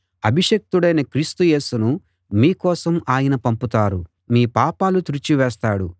అభిషిక్తుడైన క్రీస్తు యేసును మీ కోసం ఆయన పంపుతాడు మీ పాపాలు తుడిచి వేస్తాడు